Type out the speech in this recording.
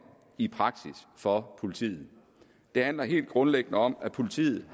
i praksis for politiet det handler helt grundlæggende om at politiet